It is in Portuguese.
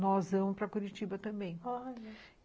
nós vamos para Curitiba também. Olha...